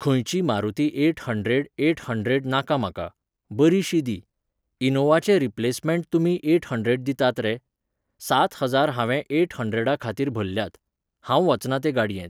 खंयची Maruti eight hundred eight hundred नाका म्हाका. बरीशी दी. इनोवाचें रिप्लेसमँट तुमी एट हन्ड्रेड दितात रे. सात हजार हांवें एट हन्ड्रेडा खातीर भरल्यात. हांव वचना ते गाड्येंत.